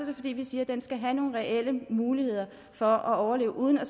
det fordi vi siger at den skal have nogle reelle muligheder for at overleve uden at